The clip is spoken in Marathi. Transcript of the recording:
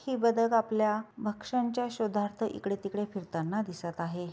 हे बदक आपल्या भक्ष्यांच्या शोधार्थ इकडे तिकडे फिरताना दिसत आहे.